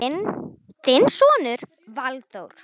Þinn sonur Valþór.